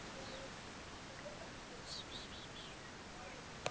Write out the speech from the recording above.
Milli þín og Hönnu Birnu?